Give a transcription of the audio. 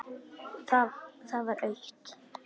Það var autt.